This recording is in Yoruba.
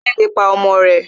Ẹlẹ́dẹ̀ le pa ọmọ rẹ̀